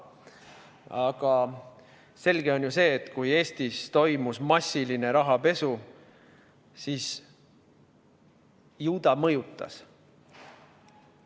Aga selge on ju see, et kui Eestis toimus massiline rahapesu, siis ju ta mõjutas.